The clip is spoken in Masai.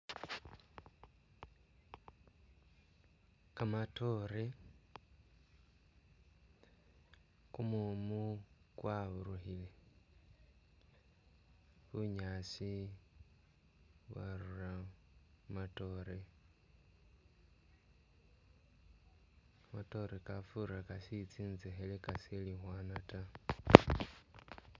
Kamatoore, kumumu kwaburukhile, bunyaasi bwarura mu matoore, kamatoore kafura kashiili tsisekhele kashiili khwana ta